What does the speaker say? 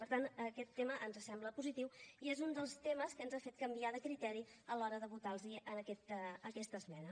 per tant aquest tema ens sembla positiu i és un dels temes que ens ha fet canviar de criteri a l’hora de votar los aquesta esmena